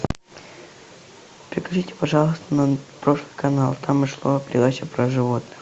переключите пожалуйста на прошлый канал там шла передача про животных